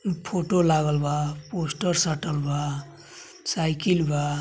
Photo लागल बा। Poster साटल बा। साईकिल बा।